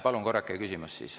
Palun korrake küsimust.